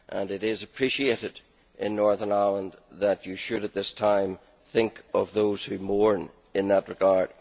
It is appreciated in Northern Ireland that you should, at this time, think of those who mourn in that regard.